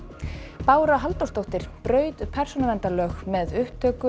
Bára Halldórsdóttir braut persónuverndarlög með upptöku